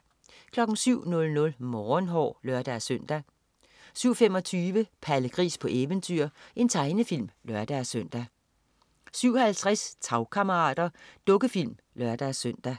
07.00 Morgenhår (lør-søn) 07.25 Palle Gris på eventyr. Tegnefilm (lør-søn) 07.50 Tagkammerater. Dukkefilm (lør-søn)